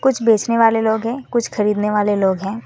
कुछ बेचने वाले लोग हैं कुछ खरीदने वाले लोग हैं।